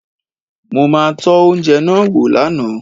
Mo ma tọ́ oúnjẹ náà wò lánàá